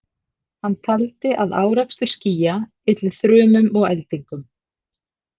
Hann taldi að árekstur skýja ylli þrumum og eldingum.